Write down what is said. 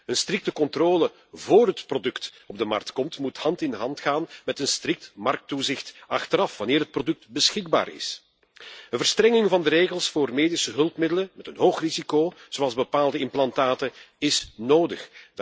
Een strikte controle vóór het product op de markt komt, moet hand in hand gaan met een strikt markttoezicht achteraf, wanneer het product beschikbaar is. Een verstrenging van de regels voor medische hulpmiddelen met een hoog risico, zoals bepaalde implantaten, is nodig.